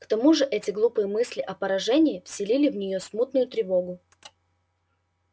к тому же эти глупые мысли о поражении вселили в неё смутную тревогу